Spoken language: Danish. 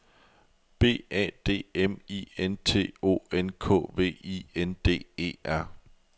B A D M I N T O N K V I N D E R